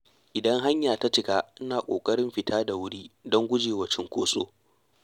Idan hanya ta cika ina ƙoƙarin fita da wuri don gujewa cunkoso.